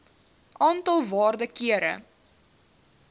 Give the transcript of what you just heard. aantal waarde kere